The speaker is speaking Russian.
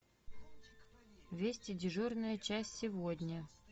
вести дежурная часть сегодня